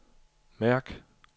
mærk